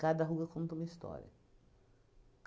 Cada ruga conta uma história.